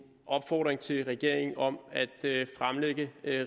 opfordring til regeringen om at give